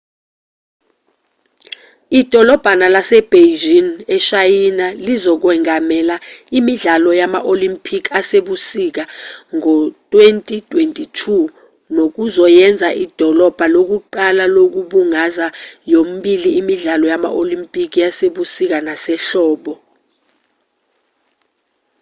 idolabha lasebeijing eshayina lizokwengamela imidlalo yama-olimpikhi asebusika ngo-2022 nokuzoyenza idolabha lokuqala lokubungaza yomibili imidlalo yama-olimpikhi yasebusika nasehlobo